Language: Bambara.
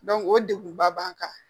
o degun ba b'an kan